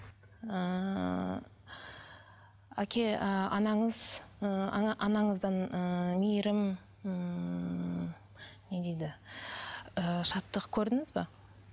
ыыы әке ы анаңыз ы ана анаңыздан ыыы мейірім ммм не дейді ы шаттық көрдіңіз бе